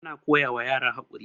ana koyawa yara gaskiya